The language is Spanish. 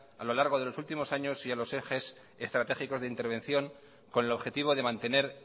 a lo largo de los últimos años y en los ejes estratégicos de intervención con el objetivo de mantener